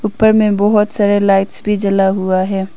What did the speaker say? ऊपर में बहोत सारे लाइट्स भी जला हुआ है।